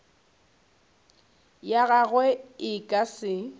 ya gagwe e ka se